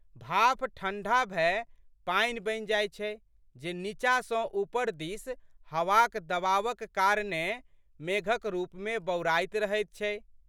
भाप ठंढा भए पानि बनि जाइत छै जे नींचा सँ ऊपर दिस हवाक दबावक कारणेँ मेघक रूपमे बौराइत रहैत छै।